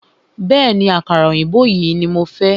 Bẹ̀ẹ́ni, àkàrà òyìnbó yìí ní mo fẹ́.